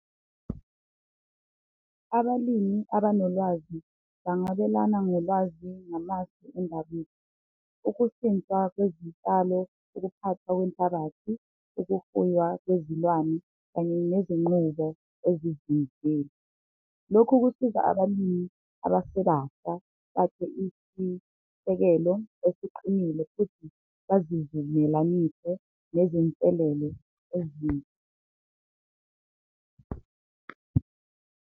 Abalimi abanolwazi bangabelana ngolwazi namasu , ukushintsha kwezitshalo, ukuphathwa kwenhlabathi, ukufuywa kwezilwane kanye nezinqubo . Lokhu kusiza abalimi abasebasha bakhe isisekelo esiqinile futhi bazivumelanise nezinselelo .